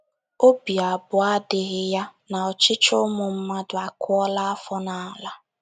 OBI abụọ adịghị ya na ọchịchị ụmụ mmadụ akụọla afọ n’ala.